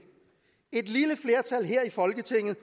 et lille flertal her i folketinget